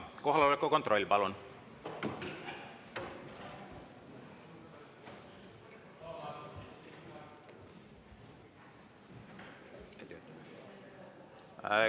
Kohaloleku kontroll, palun!